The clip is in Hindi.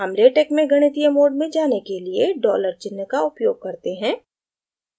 हम latex में गणितीय mode में जाने के लिए dollar चिन्ह का उपयोग करते हैं